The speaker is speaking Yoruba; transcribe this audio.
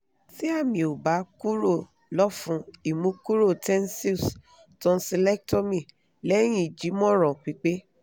ti ami o ba kuro lỌ̀fun imukuro tensils tonsilectomy lẹ́yìn ijimoran pipe